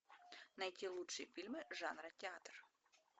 найти лучшие фильмы жанра театр